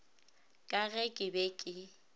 ka ge ke be ke